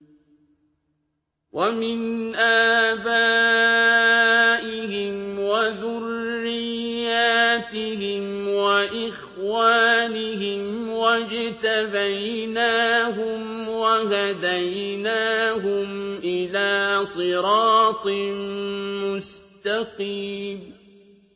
وَمِنْ آبَائِهِمْ وَذُرِّيَّاتِهِمْ وَإِخْوَانِهِمْ ۖ وَاجْتَبَيْنَاهُمْ وَهَدَيْنَاهُمْ إِلَىٰ صِرَاطٍ مُّسْتَقِيمٍ